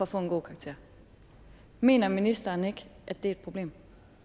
få en god karakter mener ministeren ikke at det er et problem